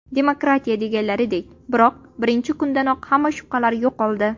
Demokratiya deganlaridek… Biroq, birinchi kundanoq hamma shubhalar yo‘qoldi.